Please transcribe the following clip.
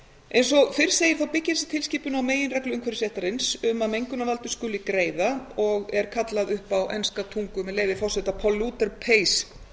eins og fyrr segir byggir tilskipunin á meginreglu umhverfisréttar um að mengunarvaldur skuli greiða og er kallað upp á enska tungu með leyfi forseta polluter pays principle tilskipunin var